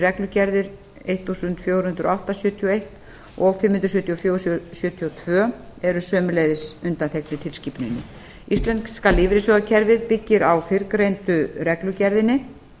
reglugerðir númer fjórtán hundruð og átta sjötíu og eins og númer fimm hundruð sjötíu og fjögur sjötíu og tvö eru sömuleiðis undanþegnir tilskipuninni íslenska lífeyrissjóðakerfið byggir á fyrrgreindu reglugerðinni